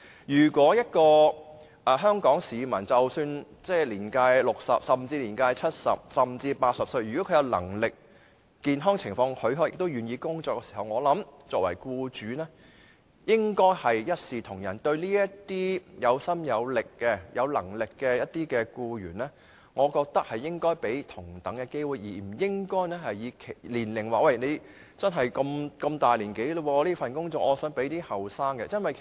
一名香港市民即使年屆60歲，甚至年屆70歲或80歲，只要他有能力，健康情況許可並願意工作，我想作為僱主的，也應該一視同仁，向這些有心有能力的僱員提供同等機會，而不應因年齡問題，即他們年紀大，而把工作職位留給較年青的人。